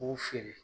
K'o feere